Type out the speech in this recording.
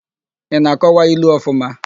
Ị na-akọwa ilu ọfụma?